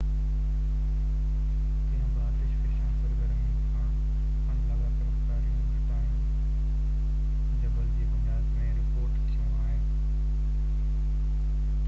ڪنهن به آتش فشان سرگرمي کان اڻ لاڳاپيل ڪاريون گهٽائون جبل جي بنياد ۾ رپورٽ ٿيون آهن